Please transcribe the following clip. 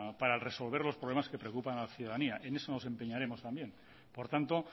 para resolver los problemas que preocupan a la ciudadanía en eso nos empeñaremos también por tanto